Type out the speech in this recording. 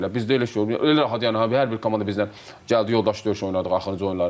Bizdə elə şey yoxdur, elə rahat yəni hər bir komanda bizdən gəldi yoldaşlıq döyüşü oynadı axırıncı oyunları.